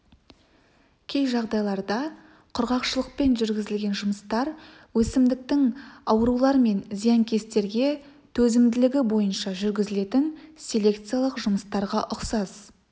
кей жағдайларда құрғақшылықпен жүргізілген жұмыстар өсімдіктің аурулар мен зиянкестерге төзімділігі бойынша жүргізілетін селекциялық жұмыстарға ұқсас